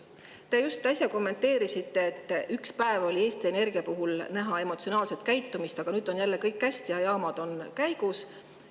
Te just äsja kommenteerisite, et ükspäev oli Eesti Energia puhul näha emotsionaalset käitumist, aga nüüd on jälle kõik hästi ja jaamad on käigus.